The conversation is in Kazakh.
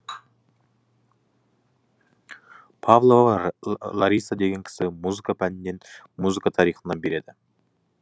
павлова лариса деген кісі музыка пәнінен музыка тарихынан берді